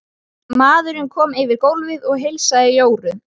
Maðurinn kom yfir gólfið og heilsaði Jóru.